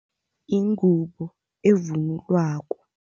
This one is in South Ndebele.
Yingubo evunulwako.